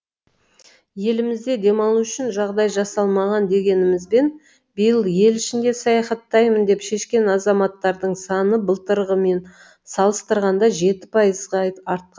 елімізде демалу үшін жағдай жасалмаған дегенімізбен биыл ел ішінде саяхаттаймын деп шешкен азаматтардың саны былтырғымен салыстырғанда жеті пайызға артқа